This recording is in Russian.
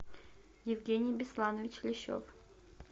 евгений бесланович лещев